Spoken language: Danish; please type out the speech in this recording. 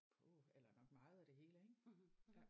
Puh eller nok meget af det hele ik ja